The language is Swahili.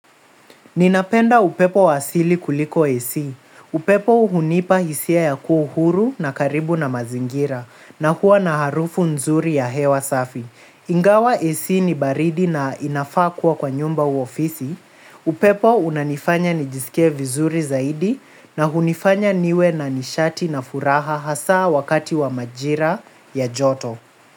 Ninapenda upepo wa asili kuliko ac. Upepo hunipa hisia ya kuwa huru na karibu na mazingira na huwa na harufu nzuri ya hewa safi. Ingawa ac ni baridi na inafaa kuwa kwa nyumba au ofisi upepo unanifanya nijisikie vizuri zaidi na hunifanya niwe na nishati na furaha hasa wakati wa majira ya joto.